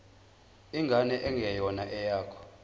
ingane engeyona eyakho